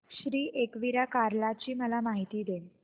श्री एकविरा कार्ला ची मला माहिती दे